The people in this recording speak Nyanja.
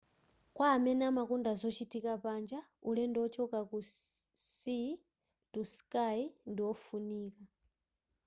kwa amene amakonda zochitika panja ulendo wochoka ku sea to sky ndi ofunika